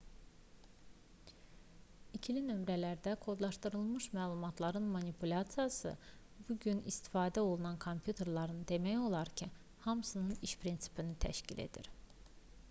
i̇kili nömrələrlə kodlaşdırılmış məlumatların manipulyasiyası bu gün istifadə olunan kompüterlərin demək olar ki hamısının iş prinsipini təşkil edir